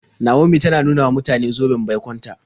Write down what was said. Naomi tana ta nuna wa mutane zoben baikon ta.